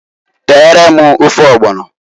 Teere m ofe ọgbọnọǃ